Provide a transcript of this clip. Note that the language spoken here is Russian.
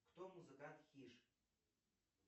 кто музыкант хиш